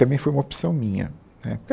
Também foi uma opção minha né.